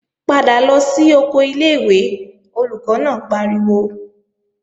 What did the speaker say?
Padà lọ sí oko ilé-ìwé, Olùkọ́ náà pariwo!